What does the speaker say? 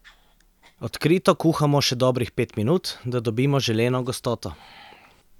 Odkrito kuhamo še dobrih pet minut, da dobimo želeno gostoto.